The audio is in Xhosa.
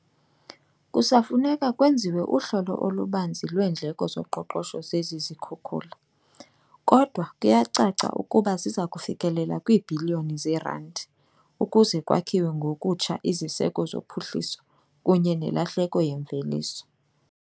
"Kusafuneka kwenziwe uhlolo olubanzi lweendleko zoqoqosho zezi zikhukula, kodwa kuyacaca ukuba ziza kufikelela kwiibhiliyoni zeerandi ukuze kwakhiwe ngokutsha iziseko zophuhliso kunye nelahleko yemveliso."